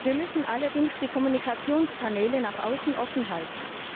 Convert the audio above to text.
Wir müssen allerdings die Kommunikationskanäle nach außen offenhalten.